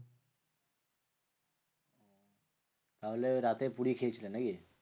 তাহলে রাতে পুরি খেয়েছিলে নাকি?